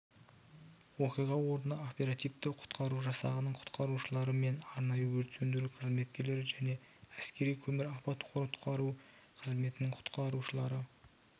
оқиға орнына оперативті-құтқару жасағының құтқарушылары мен арнайы өрт сөндіру қызметкерлері және әскери көмір апат-құтқару қызметінің құтқарушылары